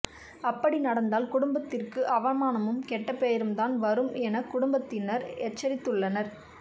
அப்படி நடந்தால் குடும்பத்திற்கு அவமானமும் கெட்டப்பெயரும் தான் வரும் என குடும்பத்தினர் எச்சரித்துள்ளனர்